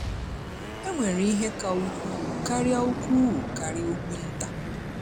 Enwere ihe ka ukwuu karịa ukwuu karịa ugwu nta.